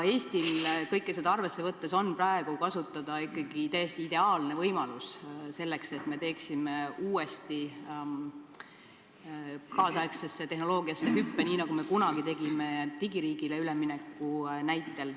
Eestil on kõike seda arvesse võttes praegu kasutada ikkagi täiesti ideaalne võimalus, et me teeksime uuesti kaasaegse tehnoloogilise hüppe, nii nagu me kunagi tegime digiriigile ülemineku näitel.